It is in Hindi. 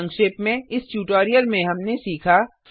संक्षेप में इस ट्यूटोरियल में हमने सीखा